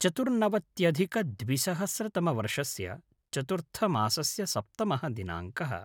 चतुर्नवत्यधिकद्विसहस्रतमवर्षस्य चतुर्थमासस्य सप्तमः दिनाङ्कः